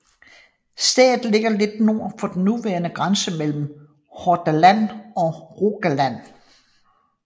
Stedet ligger lidt nord for den nuværende grænse mellem Hordaland og Rogaland